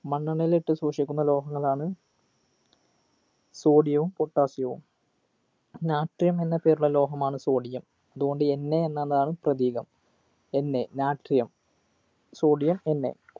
മണ്ണെണ്ണയിലിട്ട് സൂക്ഷിക്കുന്ന ലോഹങ്ങളാണ് sodium വും potassium വും natrium എന്ന പേരുള്ള ലോഹമാണ് sodium അതുകൊണ്ട് NA എന്നതാണ് പ്രതീകം NAnatriumsodiumNA